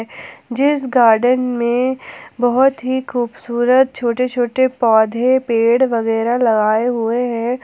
जीस गार्डन में बहुत ही खूबसूरत छोटे छोटे पौधे पेड़ वगैरा लगाए हुए हैं।